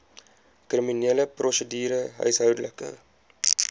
kriminele prosedure huishoudelike